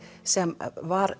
sem var